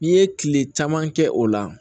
N'i ye kile caman kɛ o la